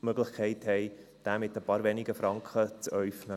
die Möglichkeit haben, diesen mit ein paar wenigen Franken zu äufnen.